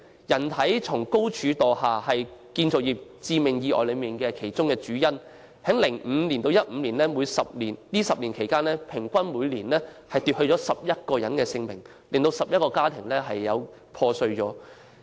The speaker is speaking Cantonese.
"人體從高處墮下"是建造業致命意外的主要類別，由2005年至2015年的10年間，每年平均奪去11人性命，造成11個破碎家庭。